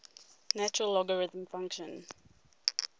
natural logarithm function